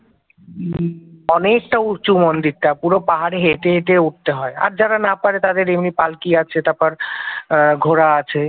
অনেকটা উঁচু মন্দিরটা পুরো পাহাড়ে হেঁটে হেঁটে উঠতে হয়, আর যারা না পারে তাদের এমনি পালকি আছে তারপর আহ ঘোড়া আছে